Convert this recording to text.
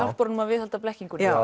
hjálpar honum að viðhalda blekkingunni